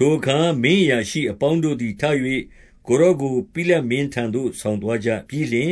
ထိုအခါ မင်းအရာရှိအပေါင်းတို့သည်ထ၍ ကိုယ်တော်ကို ပိလတ်မင်းထံသို့ ဆောင်သွားကြပြီးလျှင်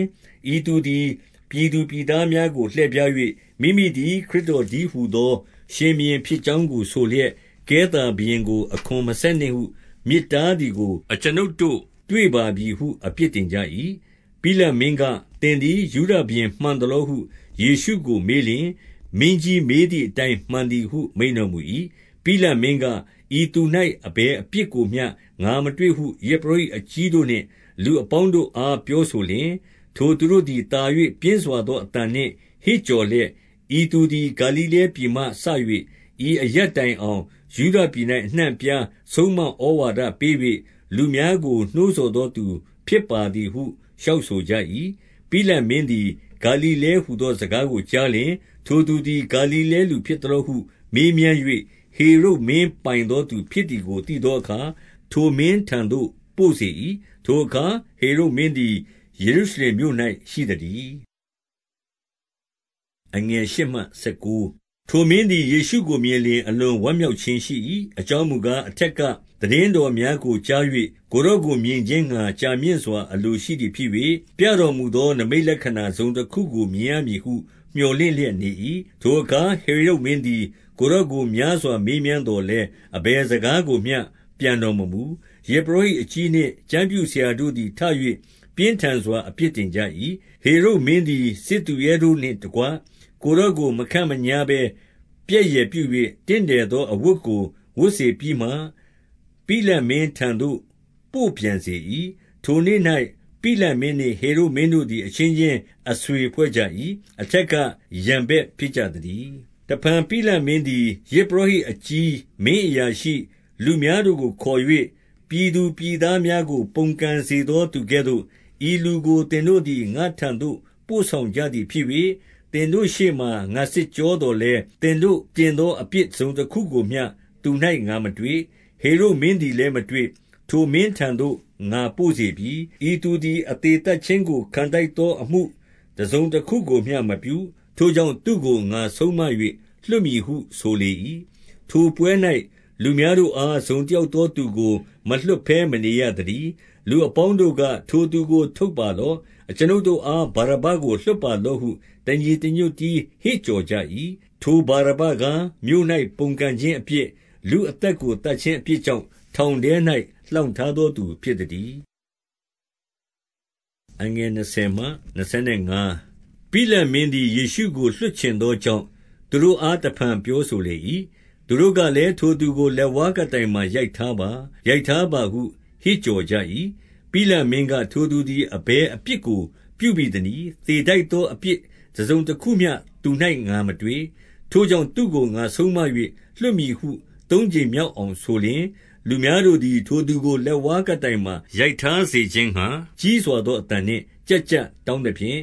၊ 2 ဤသူသည် ပြည်သူပြည်သားများကို လှည့်ဖြား၍၊ မိမိသည် ခရစ်တော်တည်းဟူသော ရှင်ဘုရင်ဖြစ် ကြောင်းကိုဆိုလျက်၊ ကဲသာဘုရင်ကို အခွန်မဆက်နှင့်ဟု မြစ်တားသည်ကို အကျွန်ုပ်တို့တွေ့ပါပြီဟု အပြစ်တင် ကြ၏။ 3 ပိလတ်မင်းက၊ သင်သည် ယုဒရှင်ဘုရင်မှန်သလောဟု ယေရှုကိုမေးလျှင်၊ မင်းကြီးမေးသည်အတိုင်း မှန်သည်ဟု မိန့်တော်မူ၏။ 4 ပိလတ်မင်းက၊ ဤသူ၌ အဘယ်အပြစ်ကိုမျှ ငါမတွေ့ဟု ယဇ်ပုရောဟိတ်အကြီးတို့နှင့် လူအပေါင်းတို့ အား ပြောဆိုလျှင်၊ 5 ထိုသူတို့သည် သာ၍ ပြင်းစွာသောအသံနှင့် ဟစ်ကြော်လျက်၊ ဤသူသည် ဂါလိလဲပြည်မှစ၍ ဤ အရပ်တိုင်အောင် ယုဒပြည်၌ အနှံ့အပြားဆုံးမဩဝါဒပေး၍ လူများကိုနှိုးဆော်သောသူဖြစ်ပါသည်ဟု လျှောက် ဆို ကြ၏။ 6 ပိလတ်မင်းသည် ဂါလိလဲဟူသောစကားကိုကြားလျှင်၊ ထိုသူသည် ဂါလိလဲလူဖြစ်သလောဟု မေးမြန်း ၍၊ 7 ဟေရုဒ်မင်းပိုင်သော သူဖြစ်သည်ကို သိသောအခါ ထိုမင်းထံသို့ ပို့စေ၏။ ထိုအခါ ဟေရုဒ်မင်းသည် ယေရုရှလင်မြို့၌ ရှိသတည်း။ 8 ထိုမင်းသည် ယေရှုကိုမြင်လျှင် အလွန်ဝမ်းမြောက်ခြင်းရှိ၏။ အကြောင်းမူကား၊ အထက်က သိတင်း တော်များကိုကြား၍၊ ကိုယ်တော်ကိုမြင်ခြင်းငှါ ကြာမြင့်စွာ အလိုရှိသည်ဖြစ်၍၊ ပြတော်မူသော နိမိတ်လက္ခဏာ တစုံတခုကို မြင်ရမည်ဟု မြော်လင့်လျက်နေ၏။ 9 ထိုအခါ ဟေရုဒ်မင်းသည် ကိုယ်တော်ကို များစွာမေးမြန်းသော်လည်း အဘယ်စကားကိုမျှ ပြန်တော် မမူ။ 10 ယဇ်ပုရောဟိတ်အကြီးနှင့် ကျမ်းပြုဆရာတို့သည် ထ၍ ပြင်းထန်စွာ အပြစ်တင်ကြ၏။ 11 ဟေရုဒ်မင်းသည် စစ်သူရဲတို့နှင့်တကွ ကိုယ်တော်ကို မခန့်မညားဘဲ ပြက်ယယ်ပြု၍ တင့်တယ်သော အဝတ်ကို ဝတ်စေပြီးမှ ပိလတ်မင်းထံသို့ ပို့ပြန်စေ၏။ 12 ထိုနေ့၌ ပိလတ်မင်းနှင့် ဟေရုဒ်မင်းတို့သည် အချင်းချင်းအဆွေဖွဲ့ကြ၏။ အထက်က ရန်ဘက်ဖြစ်ကြ သတည်း။ 13 တဖန် ပိလတ်မင်းသည် ယဇ်ပုရောဟိတ်အကြီး၊ 14 ပြည်သူပြည်သားများကို ပုန်ကန်စေသောသူကဲ့သို့ ဤလူကို သင်တို့သည် ငါ့ထံသို့ ပို့ဆောင်ကြသည် ဖြစ်၍၊ သင်တို့ရှေ့မှာ ငါစစ်ကြောသော်လည်း၊ သင်တို့ တင်သောအပြစ်တစုံတခုကိုမျှ သူ၌ငါမတွေ့။ 15 ဟေရုဒ်မင်းသည်လည်းမတွေ့။ ထိုမင်းထံသို့ ငါပို့စေပြီ။ ဤသူသည် အသေသတ်ခြင်းကို ခံထိုက်သော အမှုတစုံတခုကိုမျှ မပြု။ 16 ထိုကြောင့် သူ့ကို ငါဆုံးမ၍ လွှတ်မည်ဟု ဆိုလေ၏။ 17 ထိုပွဲ၌ လူများတို့အား တစုံတယောက်သောသူကို မလွှတ်ဘဲမနေရသတည်း။ 18 လူအပေါင်းတို့က၊ ထိုသူကို ထုတ်ပါလော့။ အကျွန်ုပ်တို့အား ဗာရဗ္ဗကို လွှတ်ပါလော့ဟု တညီတညွတ် တည်း ဟစ်ကြော်ကြ၏။ 19 ထိုဗာရဗ္ဗကား၊ မြို့၌ ပုန်ကန်ခြင်းအပြစ်၊ လူအသက်ကို သတ်ခြင်းအပြစ်ကြောင့် ထောင်ထဲ၌ လှောင် ထားသောသူဖြစ်သတည်း။ 20 ပိလတ်မင်းသည် ယေရှုကို လွှတ်ချင်သောကြောင့် သူတို့အားတဖန်ပြောဆိုလေ၏။ 21 သူတို့ကလည်း၊ ထိုသူကို လက်ဝါးကပ်တိုင်မှာ ရိုက်ထားပါ။ ရိုက်ထားပါဟု ဟစ်ကြော်ကြ၏။ 22 ပိလတ်မင်းက၊ ထိုသူသည် အဘယ်အပြစ်ကို ပြုဘိသနည်း။ သေထိုက်သောအပြစ်တစုံတခုမျှ သူ၌ ငါမတွေ့။ ထိုကြောင့် သူ့ကို ငါဆုံးမ၍ လွှတ်မည်ဟု သုံးကြိမ်မြောက်အောင်ဆိုလျှင်၊ 23 လူများတို့သည် ထိုသူကို လက်ဝါးကပ်တိုင်မှာ ရိုက်ထားစေခြင်းငှါ ကြီးစွာသောအသံနှင့် ကျပ်ကျပ် တောင်းသဖြင့်၊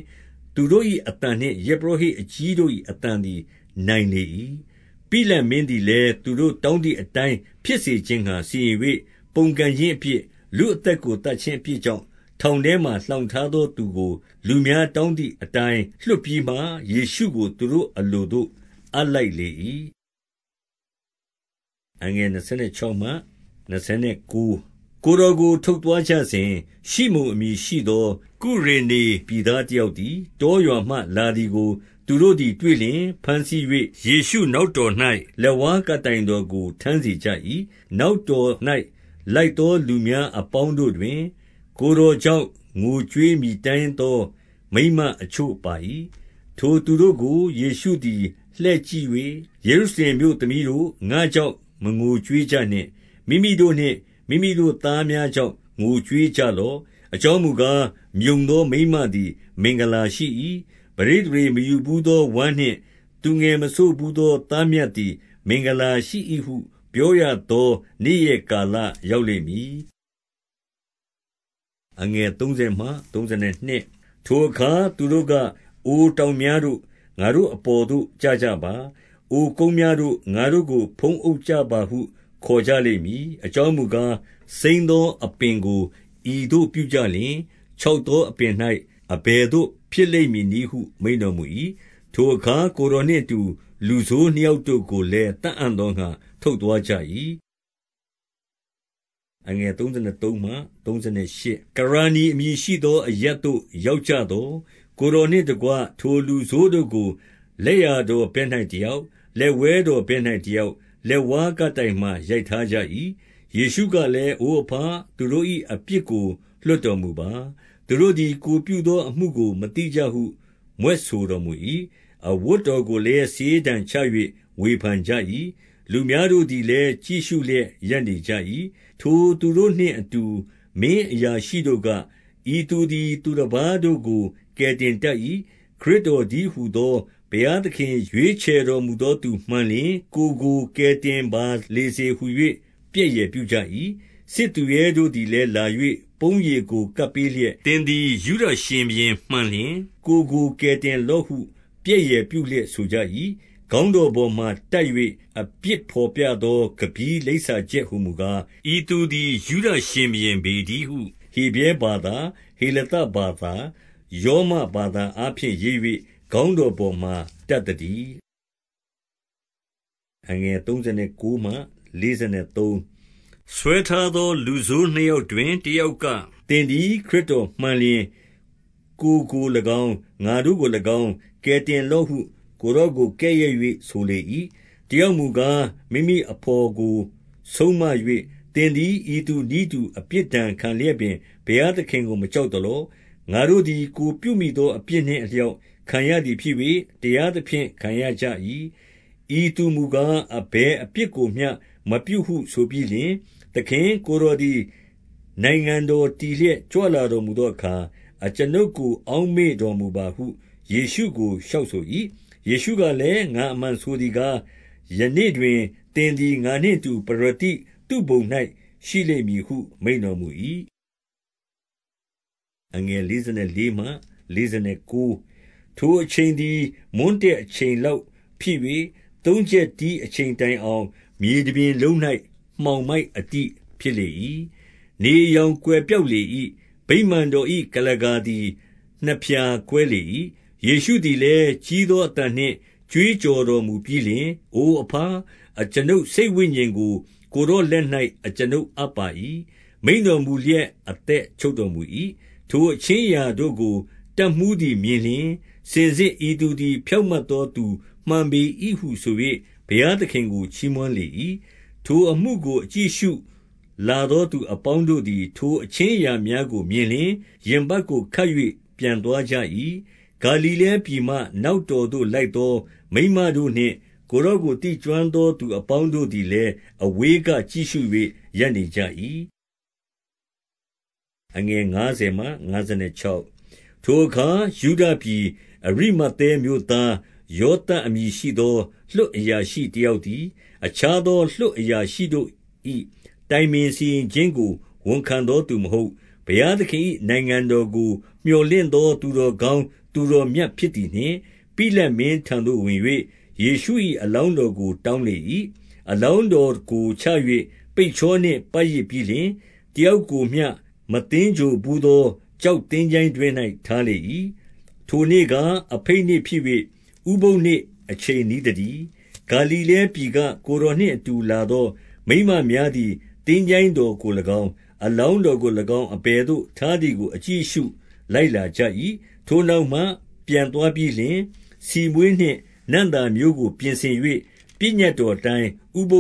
သူတို့၏အသံနှင့် ယဇ်ပုရောဟိတ်အကြီးတို့၏အသံသည် နိုင်လေ၏။ 24 ပိလတ်မင်းသည်လည်း သူတို့တောင်းသည့်အတိုင်း ဖြစ်စေခြင်းငှါ စီရင်၍၊ 25 ပုန်ကန်ခြင်းအပြစ်၊ လူအသက်ကိုသတ်ခြင်းအပြစ်ကြောင့် ထောင်ထဲမှာ လှောင်ထားသောသူကို လူ များတောင်းသည်အတိုင်း လွှတ်ပြီးမှ၊ ယေရှုကို သူတို့ အလိုသို့ အပ်လိုက်လေ၏။ 26 ကိုယ်တော်ကို ထုတ်သွားကြစဉ်၊ ရှိမုန်အမည်ရှိသော ကုရေနေပြည်သားတယောက်သည် တောရွာမှ လာသည်ကို သူတို့သည်တွေ့လျှင်၊ ဘမ်းဆီး၍ ယေရှုနောက်တော်၌ လက်ဝါးကပ်တိုင်တော်ကို ထမ်းစေကြ၏။ 27 နောက်တော်၌ လိုက်သောလူများအပေါင်းတို့တွင်၊ ကိုယ်တော်ကြောင့် ငိုကြွေးမြည်တမ်းသော မိန်းမ အချို့ပါ၏။ 28 ထိုသူတို့ကို ယေရှုသည် လှည့်ကြည့်၍၊ ယေရုရှလင်မြို့သမီးတို့၊ ငါ့ကြောင့် မငိုကြွေးကြနှင့်။ မိမိတို့နှင့် မိမိတို့သားများကြောင့် ငိုကြွေးကြလော့။ 29 အကြောင်းမူကား၊ မြုံသောမိန်းမသည် မင်္ဂလာရှိ၏။ ပဋိသန္ဓေမယူဘူးသောဝမ်းနှင့် သူငယ်မစို့ဘူး သောသားမြတ်သည် မင်္ဂလာရှိ၏ဟု ပြောရသောနေ့ရက်ကာလရောက်လိမ့်မည်။ 30 ထိုအခါ သူတို့က၊ အိုတောင်များတို့၊ ငါတို့အပေါ်သို့ ကျကြပါ။ အိုကုန်းများတို့၊ ငါတို့ကို ဖုံးအုပ်ကြ ပါဟု ခေါ်ကြလိမ့်မည်။ 31 အကြောင်းမူကား၊ စိမ်းသောအပင်ကို ဤသို့ပြုကြလျှင်၊ ခြောက်သောအပင်၌ အဘယ်သို့ ဖြစ်လိမ့်မည် နည်းဟု မိန့်တော်မူ၏။ 32 ထိုအခါ ကိုယ်တော်နှင့်အတူ လူဆိုးနှစ်ယောက် တို့ကိုလည်း သတ်အံ့သောငှါ ထုတ်သွားကြ၏။ 33 ကရာနိအမည်ရှိသောအရပ်သို့ ရောက်ကြသော်၊ ကိုယ်တော်နှင့်တကွ ထိုလူဆိုးတို့ကို လက်ျာတော် ဘက်၌တယောက်၊ လက်ဝဲတော်ဘက်၌တယောက်၊ လက်ဝါးကပ်တိုင်မှာ ရိုက်ထားကြ၏။ 34 ယေရှုကလည်း၊ အိုအဘ၊ သူတို့၏ အပြစ်ကိုလွှတ်တော်မူပါ။ သူတို့သည် ကိုယ်ပြုသောအမှုကို မသိကြ ဟု မြွက်ဆိုတော်မူ၏။ အဝတ်တော်ကိုလည်း စာရေးတံချ၍ ဝေဖန်ကြ၏။ 35 လူများတို့သည်လည်း ကြည့်ရှုလျက် ရပ်နေကြ၏။ ထိုသူတို့နှင့်အတူ မင်းအရာရှိတို့က၊ ဤသူသည် သူတပါးတို့ကို ကယ်တင်တတ်၏။ ခရစ်တော်တည်းဟူသော ဘုရားသခင် ရွေးချယ်တော်မူသောသူမှန်လျှင် ကိုယ်ကိုကယ်တင်ပါလေစေဟူ၍ ပြက်ယယ်ပြုကြ၏။ 36 စစ်သူရဲတို့သည်လည်းလာ၍ ပုံးရည်ကို ကပ်ပေးလျက်၊ 37 သင်သည် ယုဒရှင်ဘုရင်မှန်လျှင် ကိုယ်ကို ကယ်တင်လော့ဟူ၍ ပြက်ယယ်ပြုလျက် ဆိုကြ၏။ 38 ခေါင်းတော်ပေါ်မှာတပ်၍ အပြစ်ဘော်ပြသော ကမ္ဗည်းလိပ်စာချက်ဟူမူကား၊ ဤသူသည် ယုဒရှင် ဘုရင်ပေတည်းဟု ဟေဗြဲဘာသာ၊ ဟေလသဘာသာ၊ ရောမဘာသာအားဖြင့်ရေး၍ ခေါင်းတော်ပေါ်မှာ တပ် သတည်း။ 39 ဆွဲထားသော လူဆိုးနှစ်ယောက်တွင် တယောက်က၊ သင်သည် ခရစ်တော်မှန်လျှင် ကိုယ်ကို၎င်း၊ ငါတို့ ကို၎င်း၊ ကယ်တင်လော့ဟု ကိုယ်တော်ကို ကဲ့ရဲ့၍ ဆိုလေ၏။ 40 တယောက်မူကား၊ မိမိအဘော်ကိုဆုံးမ၍၊ သင်သည် ဤသူနည်းတူအပြစ်ဒဏ်ခံလျက်ပင် ဘုရားသခင် ကို မကြောက်သလော။ 41 ငါတို့သည် ကိုယ်ပြုမိသောအပြစ်နှင့်အလျောက်ခံရသည်ဖြစ်၍ တရားသဖြင့် ခံရကြ၏။ ဤသူမူကား အဘယ်အပြစ်ကိုမျှ မပြုဟုဆိုပြီးလျှင်၊ 42 သခင်၊ ကိုယ်တော်သည် နိုင်ငံတော်တည်လျက်ကြွလာတော်မူသောအခါ အကျွန်ုပ်ကို အောက်မေ့ တော်မူပါဟု ယေရှုကို လျှောက်ဆို၏။ 43 ယေရှုကလည်း၊ ငါအမှန်ဆိုသည်ကား၊ ယနေ့တွင် သင်သည် ငါနှင့်အတူ ပရဒိသုဘုံ၌ရှိလိမ့်မည်ဟု မိန့်တော်မူ၏။ 44 ထိုအချိန်သည် မွန်းတည့်အချိန်လောက်ဖြစ်၍ သုံးချက်တီးအချိန်တိုင်အောင် မြေတပြင်လုံး၌ မှောင် မိုက်အတိ ဖြစ်လေ၏။ 45 နေအရောင်ကွယ်ပျောက်လေ၏။ ဗိမာန်တော်၏ ကုလားကာသည် နှစ်ဖြာကွဲလေ၏။ 46 ယေရှုသည်လည်း ကြီးသောအသံနှင့် ကြွေးကြော်တော်မူပြီးလျှင်၊ အိုအဘ၊ အကျွန်ုပ်စိတ်ဝိညာဉ်ကို ကိုယ်တော်လက်၌ အကျွန်ုပ်အပ်ပါ၏ဟု မိန့်တော်မူလျက် အသက်ချုပ်တော်မူ၏။ 47 ထိုအခြင်းအရာတို့ကို တပ်မှူးသည်မြင်လျှင်၊ စင်စစ်ဤသူသည် ဖြောင့်မတ်သောသူမှန်ပေ၏ဟုဆို၍ ဘုရားသခင်ကို ချီးမွမ်းလေ၏။ 48 ထိုအမှုကို အကြည့်အရှုလာသောသူအပေါင်းတို့သည် ထိုအခြင်းအရာများကိုမြင်လျှင်၊ ရင်ပတ်ကို ခတ်၍ ပြန်သွားကြ၏။ 49 ဂါလိလဲပြည်မှ နောက်တော်သို့လိုက်လာသော မိန်းမတို့နှင့် ကိုယ်တော်ကို သိကျွမ်းသောသူအပေါင်း တို့သည်လည်း အဝေးကကြည့်ရှု၍ ရပ်နေကြ၏။ 50 ထိုအခါ ယုဒပြည်အရိမဿဲမြို့သား ယောသပ်အမည်ရှိသော လွှတ်အရာရှိတယောက်သည်၊ အခြား သော လွှတ်အရာရှိတို့၏ တိုင်ပင်စီရင်ခြင်းကို ဝန်ခံသောသူမဟုတ်၊ 51 ဘုရားသခင်၏နိုင်ငံတော်ကို မြော်လင့်သော သူတော်ကောင်းသူတော်မြတ်ဖြစ်သည်နှင့် ပိလတ်မင်းထံ သို့ဝင်၍၊ 52 ယေရှု၏အလောင်းတော်ကို တောင်းလေ၏။ 53 အလောင်းတော်ကို ချ၍ ပိတ်ချောနှင့် ပတ်ရစ်ပြီးလျှင်၊ တယောက်ကိုမျှ မသင်္ဂြိုဟ်ဘူးသော ကျောက် သင်္ချိုင်းတွင်း၌ ထားလေ၏။ 54 ထိုနေ့ကား အဘိတ်နေ့ဖြစ်၍ ဥပုသ်နေ့အချိန် နီးသတည်း။ 55 ဂါလိလဲပြည်က ကိုယ်တော်နှင့်အတူလာသောမိန်းမများသည် သင်္ချိုင်းတော်ကို၎င်း၊ အလောင်းတော်ကို အဘယ်သို့ ထားသည်ကို၎င်း အကြည့်အရှု လိုက်လာကြ၏။ 56 ထိုနောက်မှ ပြန်သွားပြီးလျှင် ဆီမွှေးနှင့် နံ့သာမျိုးကို ပြင်ဆင်၍ ပညတ်တော်အတိုင်း ဥပ